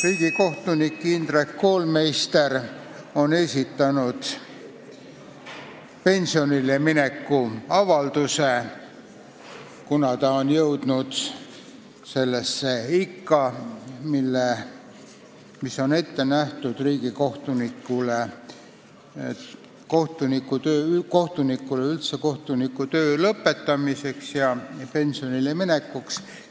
Riigikohtunik Indrek Koolmeister on esitanud pensionile mineku avalduse, kuna ta on jõudnud sellesse ikka, mis on ette nähtud riigikohtunikule, üldse kohtunikule kohtunikutöö lõpetamiseks ja pensionile minekuks.